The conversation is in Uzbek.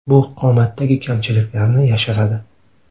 Bu qomatdagi kamchiliklarni yashiradi.